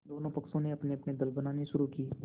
दोनों पक्षों ने अपनेअपने दल बनाने शुरू किये